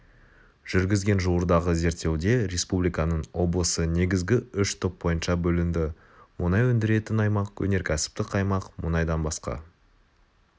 жүргізген жуырдағы зерттеуде республиканың облысы негізгі үш топ бойынша бөлінді мұнай өндіретін аймақ өнеркәсіптік аймақ мұнайдан басқа